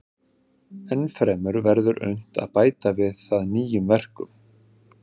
Ennfremur verður unnt að bæta við það nýjum verkum.